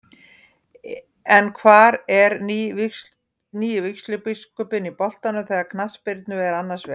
En hvar er nýi vígslubiskupinn í boltanum þegar knattspyrna er annars vegar?